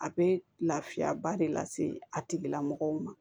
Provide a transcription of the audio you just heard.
A bɛ lafiyaba de lase a tigilamɔgɔw ma